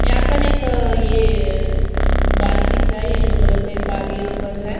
यहां पर एक अ ये अम गाड़ी दिख रहा है येलो कलर का एक गाड़ी यहां पर है।